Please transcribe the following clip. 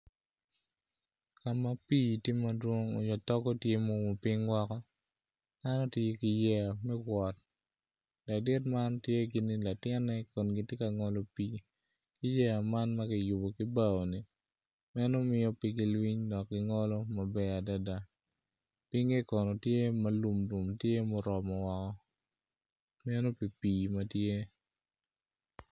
Ka ma pii tye madwong nyo togo tye ma oumo piny woko dano tye ki yeya me wot ladit man tye gini latinne kun gitye ka ngolo pii ki yeya man ma kiyubo ki bao-ni meno mio pe gilwiny dok gingolo maber adada pinye kono tye ma lum lum tye muromo woko meno pi pii ma tye.